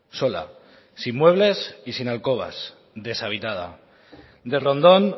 sola sin muebles y sin alcobas deshabitada de rondón